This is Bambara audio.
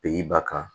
Bi ba kan